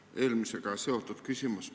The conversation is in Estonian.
Mul on eelmisega seotud küsimus.